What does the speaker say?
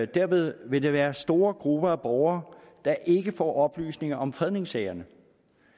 derved vil der være store grupper af borgere der ikke får oplysninger om fredningssagerne